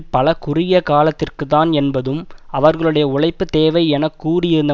பல குறுகிய காலத்திற்குத்தான் என்பதும் அவர்களுடைய உழைப்பு தேவை என கூறியிருந்த